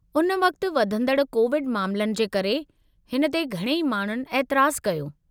उन वक़्त वधंदड़ कोविड मामलनि जे करे , हिन ते घणई माण्हुनि एतिराज़ु कयो।